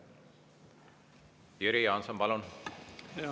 Jüri Jaanson, palun!